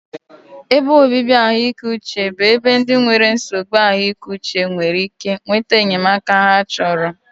Ebe obibi ahụike uche bụ ebe ndị nwere nsogbu ahụike uche nwere ike nweta enyemaka ha chọrọ.